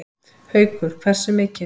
Haukur: Hversu mikið?